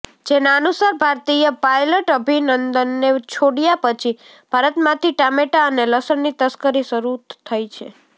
જેના અનુસાર ભારતીય પાઈલટ અભિનંદનને છોડ્યા પછી ભારતમાંથી ટામેટાં અને લસણની તસ્કરી શરુ થઈ છે